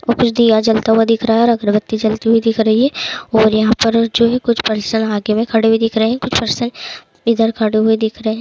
और कुछ दिया जलता हुआ दिख रहा है और अगरबत्ती जलते हुए दिख रही है और यहाँ पर जो है कुछ पर्सन आगे में खड़े हुए दिख रहे है कुछ पर्सन इधर खड़े हुए दिख रहे।